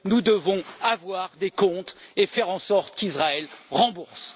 Nous devons avoir des comptes et faire en sorte qu'Israël rembourse.